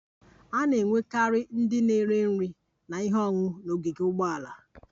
A na-enwekarị ndị na-ere nri na ihe ọṅụṅụ n'ogige ụgbọala